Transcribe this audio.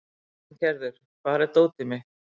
Arngerður, hvar er dótið mitt?